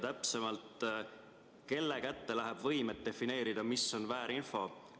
Täpsemalt, kelle kätte läheb võim, et defineerida, mis on väärinfo?